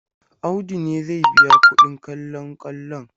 Audu ne zai biya kuɗin kallon kwallon.